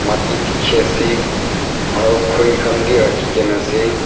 mati dekhi ase aru khuri khan vi rakhi kena ase.